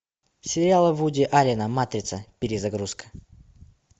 сериал вуди аллена матрица перезагрузка